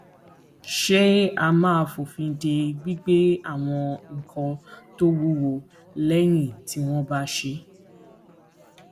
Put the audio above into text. ṣé a máa fòfin de gbígbé àwọn nǹkan tó wúwo léyìn tí wón bá ṣé